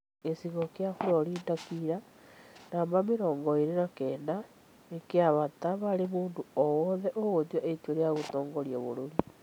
Gĩchigo kĩa Florida kira (namba mirongo ĩĩrĩ na kenda) nĩ kĩabata harĩ mũndũ o wothe ũgũtua itua rĩa gũtongoria bũrũri.